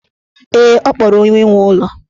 Ee, ọ kpọrọ onye nwe ụlọ.